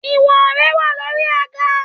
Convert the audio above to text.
Ìwọ̀n rẹ wà lórí àga